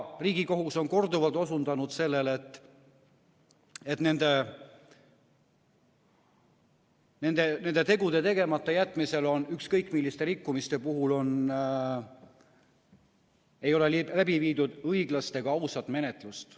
Riigikohus on korduvalt osutanud sellele, et nende tegude tegemata jätmisel ei ole ükskõik milliste rikkumiste puhul läbi viidud õiglast ja ausat menetlust.